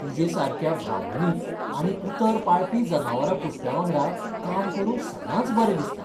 तुजे सारक्या भावनीक आनी उतर पाळपी जनावरां पोसप्यांवांगडा काम करूंक सदांच बरें दिसता.